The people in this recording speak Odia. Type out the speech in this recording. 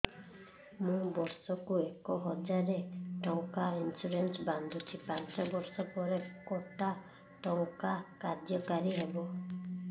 ମୁ ବର୍ଷ କୁ ଏକ ହଜାରେ ଟଙ୍କା ଇନ୍ସୁରେନ୍ସ ବାନ୍ଧୁଛି ପାଞ୍ଚ ବର୍ଷ ପରେ କଟା ଟଙ୍କା କାର୍ଯ୍ୟ କାରି ହେବ